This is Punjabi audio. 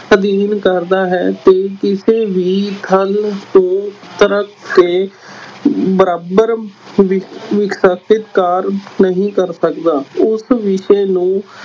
ਅਧਿਐਨ ਕਰਦਾ ਹੈ ਤੇ ਕਿਸੇ ਵੀ ਨੂੰ ਤਰਕ ਤੇ ਬਰਾਬਰ ਨਹੀਂ ਕਰ ਸਕਦਾ, ਉਸ ਵਿਸ਼ੇ ਨੂੰ